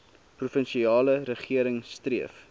provinsiale regering streef